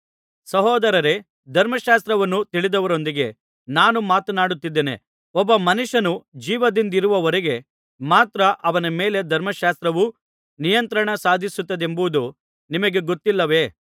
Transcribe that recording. ಸಹೋದರರೇ ಧರ್ಮಶಾಸ್ತ್ರವನ್ನು ತಿಳಿದವರೊಂದಿಗೆ ನಾನು ಮಾತನಾಡುತ್ತಿದ್ದೇನೆ ಒಬ್ಬ ಮನುಷ್ಯನು ಜೀವದಿಂದಿರುವವರೆಗೆ ಮಾತ್ರ ಅವನ ಮೇಲೆ ಧರ್ಮಶಾಸ್ತ್ರವು ನಿಯಂತ್ರಣ ಸಾಧಿಸುತ್ತದೆಂಬುದು ನಿಮಗೆ ಗೊತ್ತಿಲ್ಲವೇ